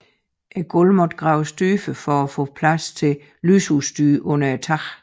Gulvet måtte dog graves dybere for at få plads til al lysudstyr under taget